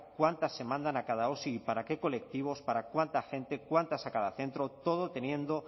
cuántas se mandan a cada osi para qué colectivos para cuánta gente cuántas a cada centro todo teniendo